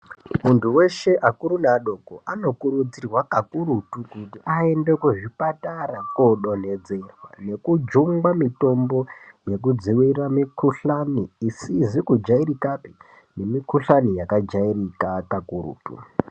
Muntu weshe akuru neadoko ano kurudzirwa kakurutu kuti aende kuzvipatara kodo nhedzerwa nekujungwa mitombo yekudzivirira mikhuhlani isizi kujairikapi nemikhuhlani yakajairika kakurutu.